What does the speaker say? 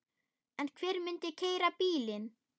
En hver myndi keyra bílinn?